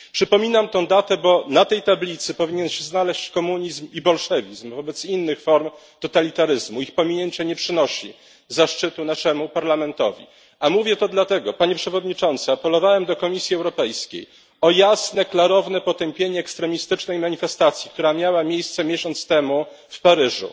Przypominam tę datę, bo na tej tablicy powinien się znaleźć komunizm i bolszewizm wobec innych form totalitaryzmu, ich pominięcie nie przynosi zaszczytu naszemu Parlamentowi. A mówię to dlatego, Panie Przewodniczący, apelowałem do Komisji Europejskiej o jasne, klarowne potępienie ekstremistycznej manifestacji, która miała miejsce miesiąc temu w Paryżu,